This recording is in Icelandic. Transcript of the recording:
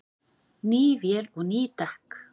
Ný vél og ný dekk